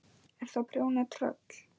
Ertu að prjóna á tröll?